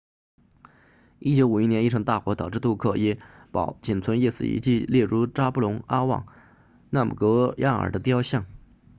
1951年一场大火导致杜克耶堡仅存一丝遗迹例如扎布隆阿旺纳姆格亚尔 zhabdrung ngawang namgyal 的雕像